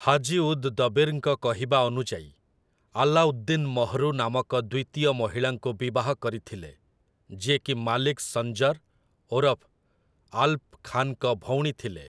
ହାଜି ଉଦ୍ ଦବୀର୍‌ଙ୍କ କହିବା ଅନୁଯାୟୀ, ଆଲାଉଦ୍ଦିନ୍ ମହ୍‌ରୁ ନାମକ ଦ୍ୱିତୀୟ ମହିଳାଙ୍କୁ ବିବାହ କରିଥିଲେ, ଯିଏକି ମାଲିକ୍ ସଞ୍ଜର୍ ଓରଫ ଆଲ୍‌ପ ଖାନ୍‌ଙ୍କ ଭଉଣୀ ଥିଲେ ।